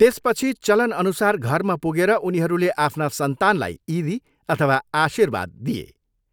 त्यसपछि चलनअनुसार घरमा पुगेर उनीहरूले आफ्ना सन्तानलाई इदी अथवा आशिर्वाद दिए।